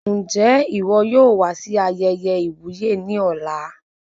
Njẹ iwọ yóò wá sí ayẹyẹ iwuye ní ọ̀la?